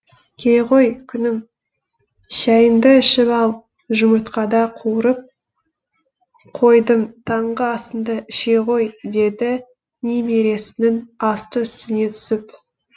келе ғой күнім шәйіңді ішіп ал жұмыртқада қуырып қойдым таңғы асыңды іше ғой деді немересінің асты үстіне түсіп